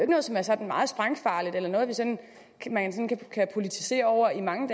noget som er sådan meget sprængfarligt eller noget man sådan kan politisere over i mange